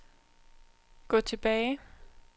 gå tilbage